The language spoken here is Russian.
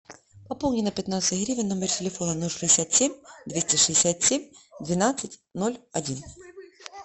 пополни на пятнадцать гривен номер телефона ноль шестьдесят семь двести шестьдесят семь двенадцать ноль один